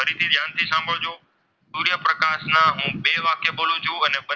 હું બે વાક્ય બોલું છું અને,